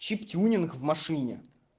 чип-тюнинг в машине